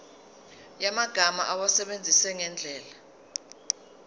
yamagama awasebenzise ngendlela